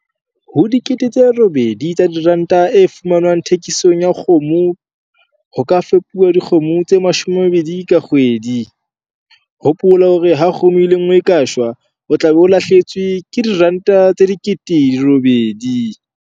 Ho R8 000 e fumanwang thekisong ya kgomo ho ka fepuwa dikgomo tse 20 ka kgwedi. Hopola hore ha kgomo e le nngwe e ka shwa, o tla be o lahlehetswe ke R8 000.